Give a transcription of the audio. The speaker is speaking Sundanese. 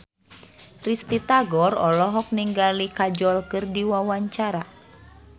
Risty Tagor olohok ningali Kajol keur diwawancara